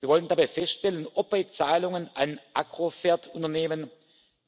Wir wollen dabei feststellen, ob bei Zahlungen an Agrofert Unternehmen